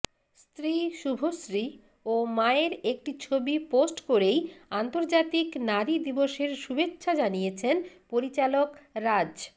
স্ত্রী শুভশ্রী ও মায়ের একটি ছবি পোস্ট করেই আন্তর্জাতিক নারী দিবসের শুভেচ্ছা জানিয়েছেন পরিচালক রাজ